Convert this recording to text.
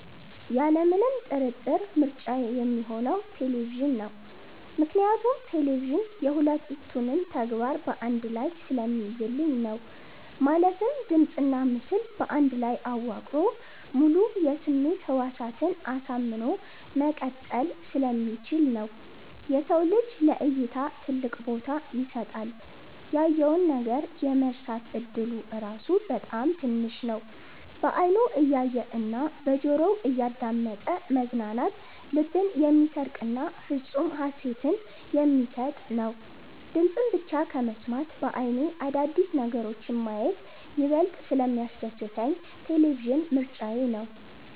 ያለምንም ጥርጥር ምርጫዬ ሚሆነው ቴሌቪዥን ነው። ምክንያቱም ቴሌቪዥን የ ሁለቱንም ተግባር በ አንድ ላይ ስለሚይዝልኝ ነው። ማለትም ድምጽና ምስል በአንድ ላይ አዋቅሮ ሙሉ የስሜት ህዋሳትን አሳምኖ መቀጠል ስለሚችል ነው። የሰው ልጅ ለ እይታ ትልቅ ቦታ ይሰጣል። ያየውን ነገር የመርሳት እድሉ ራሱ በጣም ትንሽ ነው። በ አይኑ እያየ እና በጆሮው እያዳመጠ መዝናናት ልብን የሚሰርቅና ፍፁም ሃሴትን የሚሰጥ ነው። ድምፅን ብቻ ከመስማት በ አይኔ አዳዲስ ነገሮችን ማየት ይበልጥ ስለሚያስደስተኝ ቴሌቪዥን ምርጫዬ ነው።